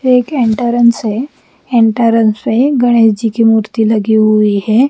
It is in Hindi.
ये एक एंटरंस है एंटरंस मे गणेश जी की मूर्ति लगी हुई है।